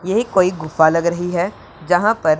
ये कोई गुफा लग रही है जहां पर--